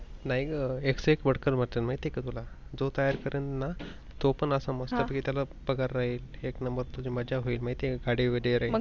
नाही ग, एकसे एक बढकर भेटन माहित आहे का तुला. जो तयार करेन ना तो पण असा मस्त कि त्याला पगार राहील एक नंबर तुझी मजा होईल गाडी वगैरे राहील